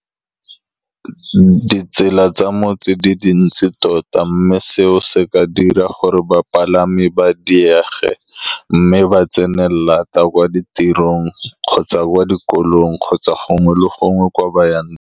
Ditsela tsa motse di dintsi tota, mme seo se ka dira gore bapalami ba diege, mme ba tsene laat kwa ditirong kgotsa kwa dikolong kgotsa gongwe le gongwe ko ba yang.